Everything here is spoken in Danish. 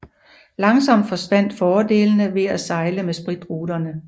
Langsomt forsvandt fordelene ved at sejle med spritruterne